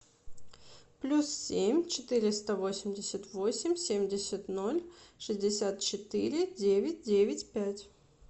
плюс семь четыреста восемьдесят восемь семьдесят ноль шестьдесят четыре девять девять пять